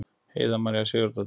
Heiða María Sigurðardóttir.